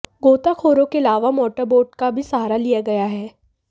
गोताखोरों के अलावा मोटरबोट का भी सहारा लिया गया है